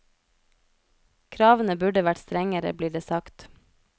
Kravene burde vært strengere, blir det sagt.